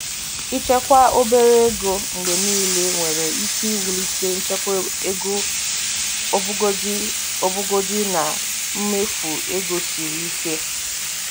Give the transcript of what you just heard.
Ịchekwa obere ego mgbe niile nwere ike iwulite nchekwa ego ọbụgodi ọbụgodi na mmefu ego siri ike.